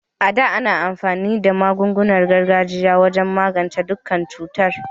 A da, ana amfani da magunguna na gargajiya wajen magance dukkan cutar.